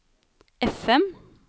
FM